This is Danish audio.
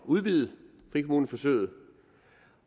udvide frikommuneforsøget